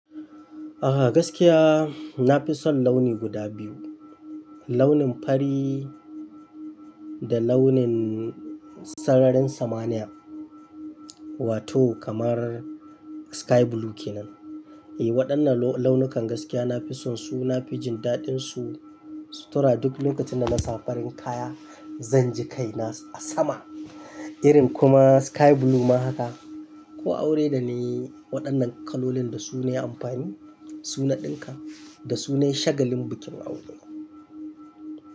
Aha gaskiya na fi son launi guda biyu, launin fari da launin sararin samaniya wato kamar sky blue kenan. E waɗannan launukan gaskiya na fi son su, na fi jin daɗinsu sutura duk lokacin da na sa farin kaya zanji kai na a sama irin kuma sky blue ma haka. Ko aure da na yi waɗannan kalolin da su ne amfani, su na ɗinka da su ne shagalin bikin aure.